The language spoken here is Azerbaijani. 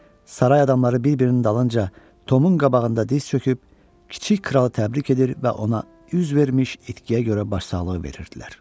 Saray adamları bir-birinin dalınca Tomun qabağında diz çöküb kiçik kralı təbrik edir və ona üz vermiş itkiyə görə başsağlığı verirdilər.